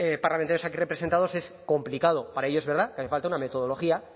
parlamentos aquí representados es complicado para ello es verdad que hace falta una metodología